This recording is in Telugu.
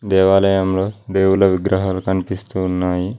దేవాలయంలో దేవుల విగ్రహాలు కనిపిస్తు ఉన్నాయి.